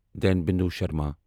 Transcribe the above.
دین بندو شرما